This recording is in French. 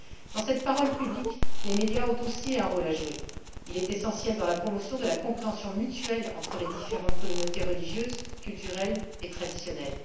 Dans cette parole publique, les médias ont aussi un rôle à jouer, essentiel dans la promotion de la compréhension mutuelle entre les différentes communautés religieuses, culturelles et traditionnelles.